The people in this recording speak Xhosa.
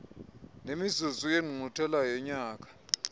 nemizuzu yengqungquthela yonyaka